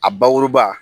A bakuruba